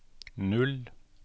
null